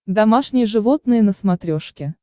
домашние животные на смотрешке